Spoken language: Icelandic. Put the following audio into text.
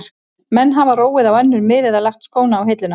Menn hafa róið á önnur mið eða lagt skóna á hilluna.